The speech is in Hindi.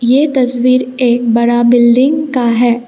ये तस्वीर एक बड़ा बिल्डिंग का है।